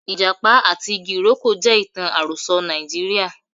Ijapa ati igi iroko je itan aroso Naijiria.